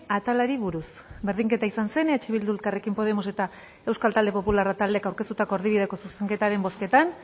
atalari buruz berdinketa izan zen eh bildu elkarrekin podemos eta euskal talde popularra taldeek aurkeztutako erdibideko zuzenketaren bozketan